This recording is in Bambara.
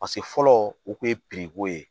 Paseke fɔlɔ u kun ye ye